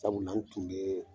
Sabula, n tun bɛ